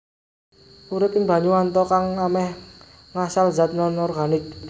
Urip ing banyu anta kang ameh ngasal zat nonorganik